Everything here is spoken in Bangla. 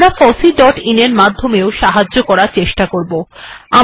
002658 002610 আমরা ফসি ডট আইএন এর মাধমে ও সাহায্য করার আশা রাখি